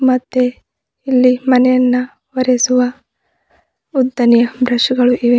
ಮತ್ತೆ ಇಲ್ಲಿ ಮನೆಯನ್ನ ಒರಿಸುವ ಉದ್ದಾನೆ ಬ್ರೆಶು ಗಳು ಇವೆ.